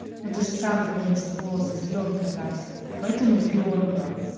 ну ты же сам говорил что волосы зелёнкой красил поэтому зелёнка